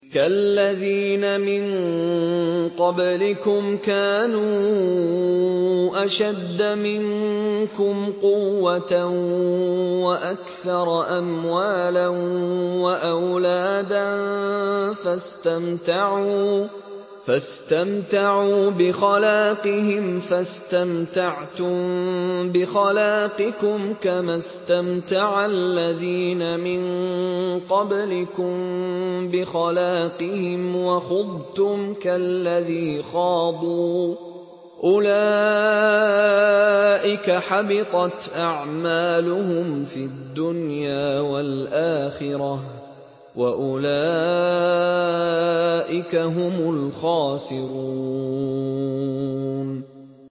كَالَّذِينَ مِن قَبْلِكُمْ كَانُوا أَشَدَّ مِنكُمْ قُوَّةً وَأَكْثَرَ أَمْوَالًا وَأَوْلَادًا فَاسْتَمْتَعُوا بِخَلَاقِهِمْ فَاسْتَمْتَعْتُم بِخَلَاقِكُمْ كَمَا اسْتَمْتَعَ الَّذِينَ مِن قَبْلِكُم بِخَلَاقِهِمْ وَخُضْتُمْ كَالَّذِي خَاضُوا ۚ أُولَٰئِكَ حَبِطَتْ أَعْمَالُهُمْ فِي الدُّنْيَا وَالْآخِرَةِ ۖ وَأُولَٰئِكَ هُمُ الْخَاسِرُونَ